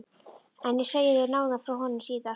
En ég segi þér nánar frá honum síðar.